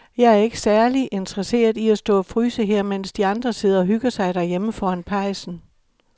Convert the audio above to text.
Jeg er ikke særlig interesseret i at stå og fryse her, mens de andre sidder og hygger sig derhjemme foran pejsen.